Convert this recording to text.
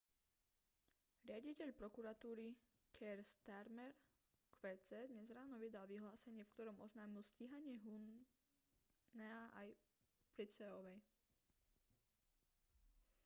riaditeľ prokuratúry keir starmer qc dnes ráno vydal vyhlásenie v ktorom oznámil stíhanie huhnea aj pryceovej